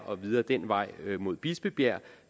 og videre den vej mod bispebjerg